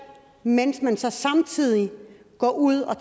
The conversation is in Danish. mens man så samtidig går ud og